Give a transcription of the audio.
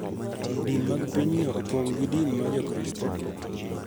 din mag pinyno opong� gi din ma Jokristo.